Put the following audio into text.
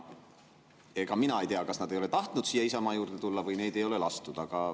Ega mina ei tea, kas nad ei ole tahtnud siia Isamaa juurde tulla või neid ei ole siia lastud.